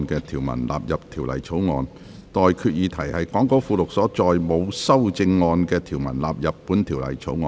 我現在向各位提出的待決議題是：講稿附錄所載沒有修正案的條文納入本條例草案。